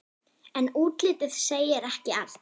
En útlitið segir ekki allt.